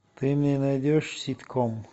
ты мне найдешь ситком